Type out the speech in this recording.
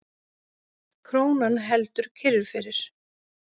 Krónan heldur kyrru fyrir